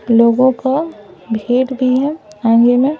लोगों को भेट भी हैं आंगे में--